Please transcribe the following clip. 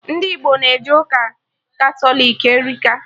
Ndị Igbo na-eje ụka Katọlik erika